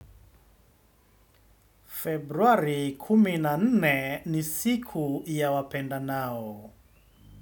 Februari kumi na nne ni siku ya wapendanao.